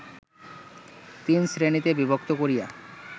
তিনশ্রেণীতে বিভক্ত করিয়া